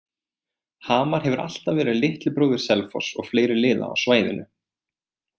Hamar hefur alltaf verið litli bróðir Selfoss og fleiri liða á svæðinu.